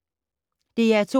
DR2